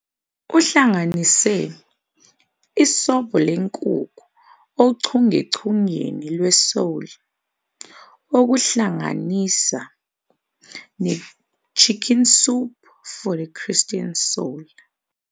Uhlanganise "Isobho Lenkukhu ochungechungeni lweSoul", okuhlanganisa "neChicken Soup for the Christian Soul."